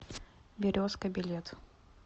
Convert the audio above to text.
березка билет